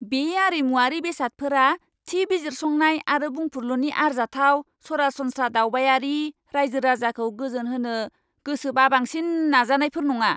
बे आरिमुआरि बेसादफोरा थि बिजिरसंनाय आरो बुंफुरलुनि आरजाथाव, सरासनस्रा दावबायारि रायजो राजाखौ गोजोनहोनो गोसो बाबांसिन नाजानायफोर नङा।